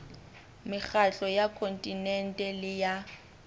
mekgatlo ya kontinente le ya